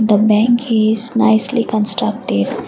the bank is nicely constructed.